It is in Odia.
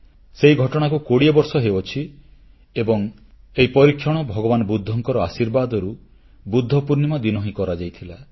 ସେହି ଘଟଣାକୁ 20ବର୍ଷ ହେଉଛି ଏବଂ ଏହି ପରୀକ୍ଷଣ ଭଗବାନ ବୁଦ୍ଧଙ୍କର ଆଶୀର୍ବାଦରୁ ବୁଦ୍ଧ ପୂର୍ଣ୍ଣିମା ଦିନ ହିଁ କରାଯାଇଥିଲା